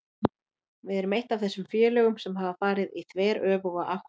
Við erum eitt af þessum félögum sem hafa farið í þveröfuga átt.